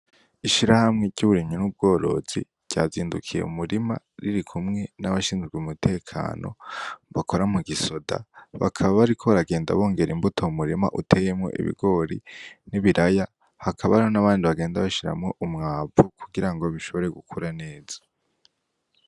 Ishirahamwe ry'uburimyi n'ubworozi ryazindukiye m'umurima, ririkumwe n'abashinzwe umutekano bakora mu gisoda, bakaba bariko baragenda bongera imbuto m'umurima uteyemwo ibigori n'ibiraya, hakaba hari n'abandi bagenda bashiramwo umwavu kugira bishobore gukura neza.